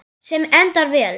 Sem endar vel.